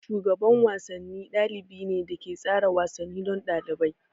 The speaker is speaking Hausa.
Shugaban wasanni ɗalibi ne da ke tsara wasanni don ɗalibai.